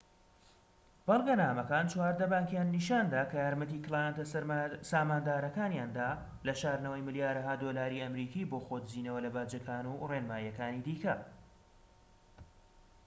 بەڵگەنامەکان چواردە بانكیان نیشاندا کە یارمەتی کلایەنتە ساماندارەکانیاندا لە شاردنەوەی ملیارەها دۆلاری ئەمریکی بۆ خۆ دزینەوە لە باجەکان و ڕێنماییەکانی دیکە